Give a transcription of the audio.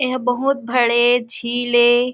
एहा बहुत बड़े झील ए।